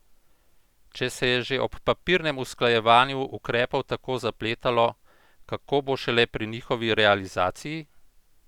Če se je že ob papirnem usklajevanju ukrepov tako zapletalo, kako bo šele pri njihovi realizaciji?